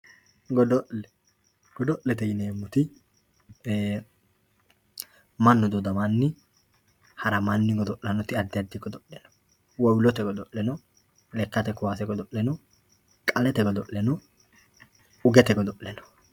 Godo'le, godo'lete yineemoti manu dodamanni haramanni godo'lanoti afi adi godo'le no, wowulote godo'le no, lekkate kaasse godo'le no, qalete godo'le no, ugette godo'le no.